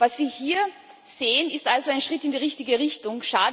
Was wir hier sehen, ist also ein Schritt in die richtige Richtung.